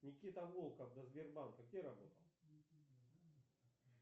никита волков до сбербанка где работал